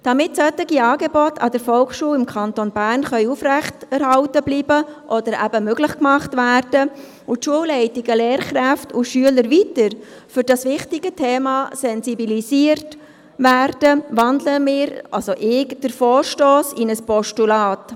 Damit solche Angebote an der Volksschule im Kanton Bern aufrechterhalten bleiben oder ermöglicht werden können und die Schulleitungen Lehrkräfte und Schüler weiter für dieses wichtige Thema sensibilisieren, wandle ich den Vorstoss in ein Postulat.